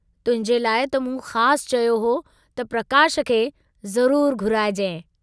तुहिंजे लाइ त मूं ख़ासु चयो हो त प्रकाश खे ज़रूर घुराइजांइ।